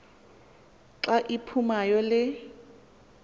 xa iphumayo le